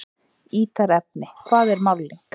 Ítarefni: Hvað er málning?